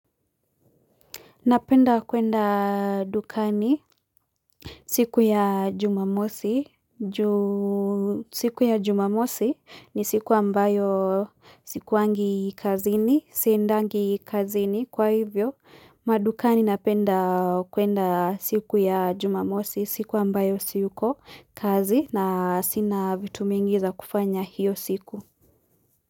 Napenda kwenda dukani siku ya jumamosi ni siku ambayo sikuwangi kazini, siendangi kazini. Kwa hivyo, madukani napenda kwenda siku ya jumamosi siku ambayo siko kazi na sina vitu mingi za kufanya hiyo siku.